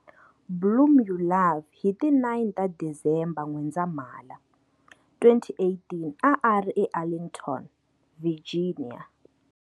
Blum u love hi ti 9 ta Disemba N'wendzamhala, 2018 a a ri eArlington, Virginia.